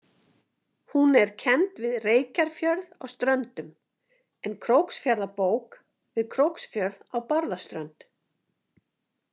Hún er kennd við Reykjarfjörð á Ströndum en Króksfjarðarbók við Króksfjörð á Barðaströnd.